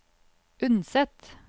Unset